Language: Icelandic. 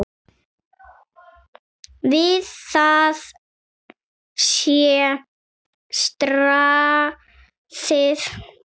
Við það sé staðið.